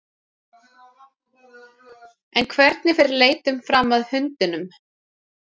En hvernig fer leitin fram að hundunum?